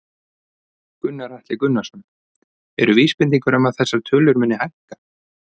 Gunnar Atli Gunnarsson: Eru vísbendingar um að þessar tölur muni hækka?